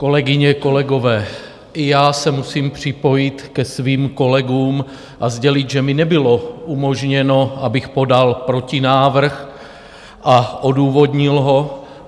Kolegyně, kolegové, i já se musím připojit ke svým kolegům a sdělit, že mi nebylo umožněno, abych podal protinávrh a odůvodnil ho.